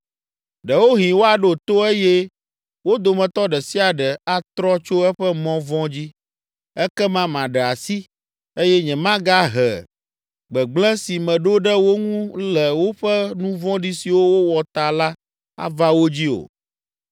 Ɖewohĩ woaɖo to eye wo dometɔ ɖe sia ɖe atrɔ tso eƒe mɔ vɔ̃ dzi. Ekema maɖe asi, eye nyemagahe gbegblẽ si meɖo ɖe wo ŋu le woƒe nu vɔ̃ɖi siwo wowɔ ta la ava wo dzi o.’